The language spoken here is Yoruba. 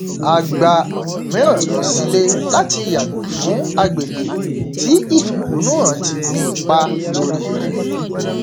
a gba ọnà mìíràn lọ sílé láti yàgò fún agbègbè tí ìfẹhonù hàn ti ní ipá lórí rẹ